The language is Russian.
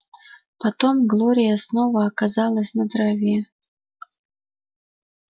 потом глория снова оказалась на траве